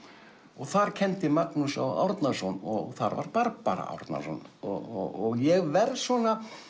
og þar kenndi Magnús Árnason og þar var Barbara Árnason og ég verð svona